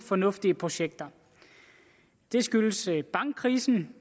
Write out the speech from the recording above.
fornuftige projekter det skyldes bankkrisen